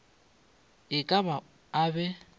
e ka ba a be